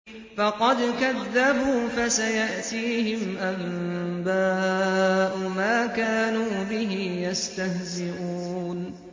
فَقَدْ كَذَّبُوا فَسَيَأْتِيهِمْ أَنبَاءُ مَا كَانُوا بِهِ يَسْتَهْزِئُونَ